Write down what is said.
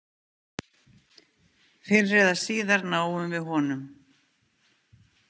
Fyrr eða síðar náum við honum.